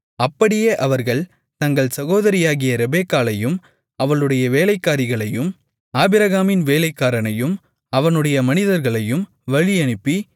அப்படியே அவர்கள் தங்கள் சகோதரியாகிய ரெபெக்காளையும் அவளுடைய வேலைக்காரிகளையும் ஆபிரகாமின் வேலைக்காரனையும் அவனுடைய மனிதர்களையும் வழியனுப்பி